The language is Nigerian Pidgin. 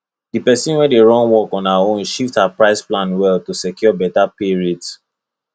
the person wey dey run work on her own shift her price plan well to secure better pay rate